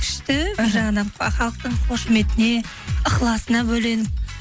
күшті бір жағынан халықтың қошеметіне ықыласына бөленіп